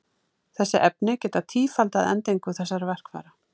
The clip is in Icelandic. Þessi efni geta tífaldað endingu þessara verkfæra.